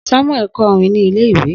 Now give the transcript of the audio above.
Samuel kọ orin ni ile-iwe